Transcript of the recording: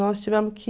Nós tivemos que